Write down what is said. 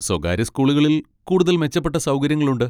സ്വകാര്യ സ്കൂളുകളിൽ കൂടുതൽ മെച്ചപ്പെട്ട സൗകര്യങ്ങളുണ്ട്.